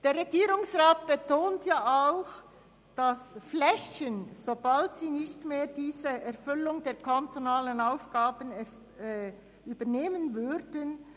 Der Regierungsrat betont auch, dass Flächen an Private verpachtet werden, sobald sie nicht mehr die entsprechenden kantonalen Aufgaben erfüllen.